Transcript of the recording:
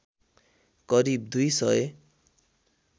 करिब दुई सय